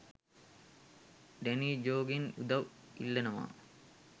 Danny ජෝගෙන් උදව් ඉල්ලනවා